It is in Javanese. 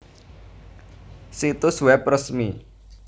Situs web resmi